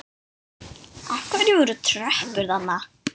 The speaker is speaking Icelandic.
Af hverju voru tröppur þarna?